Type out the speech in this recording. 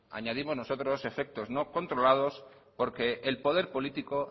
añadimos nosotros efectos no controlados porque el poder político